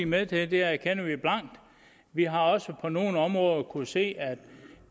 med til det erkender vi blankt vi har også på nogle områder kunnet se at